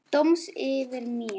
Dóms yfir mér.